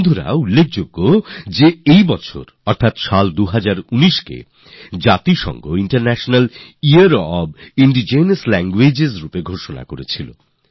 সাথীরা মূল কথা হল এই যে রাষ্ট্রসঙ্ঘ ২০১৯কে অর্থাৎ এই বছরকে international year of indigenous languages ঘোষণা করেছে